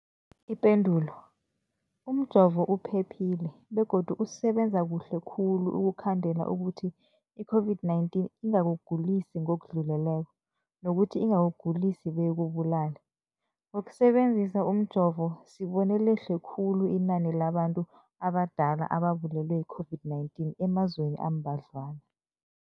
Ipendulo, umjovo uphephile begodu usebenza kuhle khulu ukukhandela ukuthi i-COVID-19 ingakugulisi ngokudluleleko, nokuthi ingakugulisi beyikubulale. Ngokusebe nzisa umjovo, sibone lehle khulu inani labantu abadala ababulewe yi-COVID-19 emazweni ambadlwana.